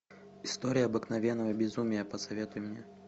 история обыкновенного безумия посоветуй мне